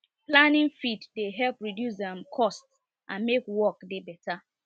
planning feed dey help reduce um cost and make work dey better